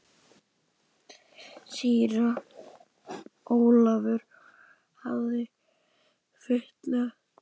Síra Ólafur hafði fitnað.